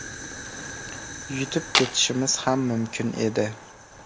Yutib ketishimiz ham mumkin edi.